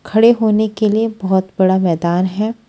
खड़े होने के लिए बोहोत बड़ा मैदान है।